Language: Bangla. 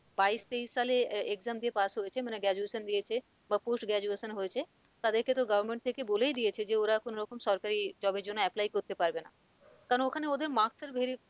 বাইশ, তেইশ সালে আহ exam দিয়ে pass হয়েছে মানে graduation দিয়েছে বা push graduation হয়েছে তাদেরকে তো government থেকে বলেই দিয়েছে যে ওরা কোনরকম সরকারি job এর জন্য apply করতে পারবে না কেন ওখানে ওদের marks এর verify